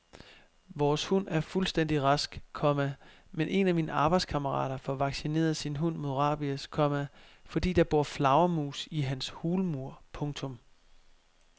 Vores hund er fuldstændig rask, komma men en af mine arbejdskammerater får vaccineret sin hund mod rabies, komma fordi der bor flagermus i hans hulmur. punktum